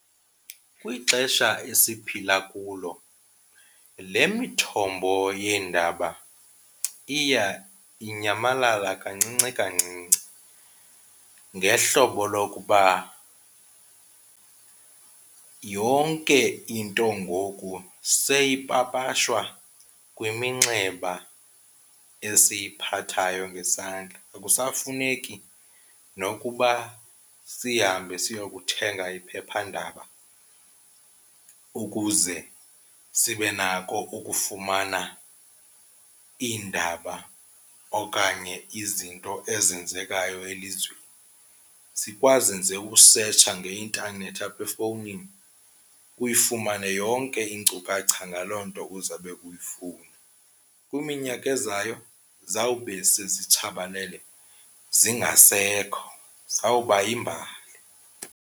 Kwixesha esiphila kulo le mithombo yeendaba iya inyamalala kancinci kancinci ngehlobo lokuba yonke into ngoku seyipapashwa kwiminxeba esiyiphathayo ngesandla. Akusafuneki nokuba sihambe siyokuthenga iphephandaba ukuze sibe nako ukufumana iindaba okanye izinto ezenzekayo elizweni. Sikwazi nje ukusetsha ngeintanethi apha efowunini uyifumane yonke iinkcukacha ngaloo nto uzawube uyifuna. Kwiminyaka ezayo zawube sezitshabalale zingasekho, zizawuba yimbali.